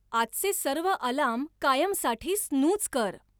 आजचे सर्व अलार्म कायमसाठी स्नूझ कर